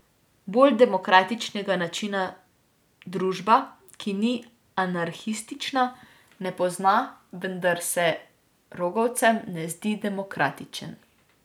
Bolj demokratičnega načina družba, ki ni anarhistična, ne pozna, vendar se rogovcem ne zdi demokratičen.